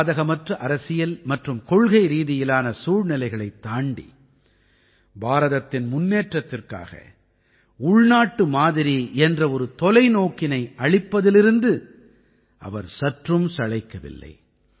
சாதகமற்ற அரசியல் மற்றும் கொள்கைரீதியிலான சூழ்நிலைகளைத் தாண்டி பாரதத்தின் முன்னேற்றத்திற்காக உள்நாட்டு மாதிரி என்ற ஒரு தொலைநோக்கினை அளிப்பதிலிருந்து அவர் சற்றும் சளைக்கவில்லை